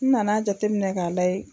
N nan'a jate minɛ k'a layɛ